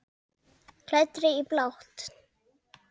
Klæddri í blátt.